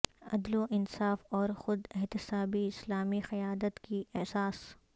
عدل و انصاف اور خود احتسابی اسلامی قیادت کی اساس